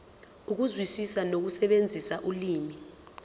ukuzwisisa nokusebenzisa ulimi